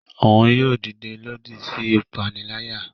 Òún yóò dide lòdì sí ipanilaya.